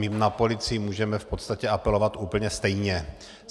My na policii můžeme v podstatě apelovat úplně stejně.